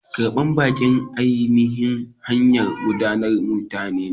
Karban baƙi ainihin hanyar ɗaukar mutane.